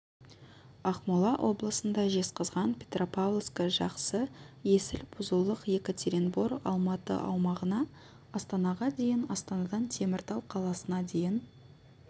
ақмола облысында жезқазған петропавловскі жақсы есіл бұзұлық екатеринбор алматы аумағына астанаға дейін астанадан теміртау қаласына дейін